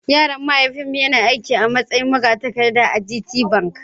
Yaron mahaifina yana aiki a matsayin magatakarda a gt bank.